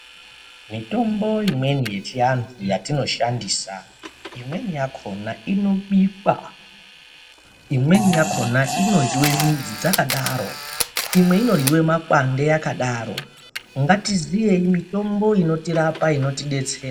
Mitombo imweni yechianthu yatinoshandisa imweni yakona inobikwa imweni yakona inoryiwa midzi dzakadaro imwe inoryiwa makwande akadaro ngatiziyei mitombo inotirapa inotidetsera .